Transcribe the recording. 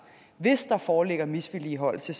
hvis der foreligger misligholdelse